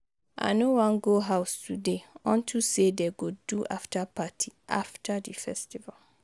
I no wan go house today unto say dey go do after party after the festival